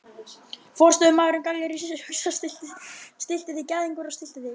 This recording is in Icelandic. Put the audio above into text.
Forstöðumaður gallerísins hugsar: Stilltu þig gæðingur, stilltu þig.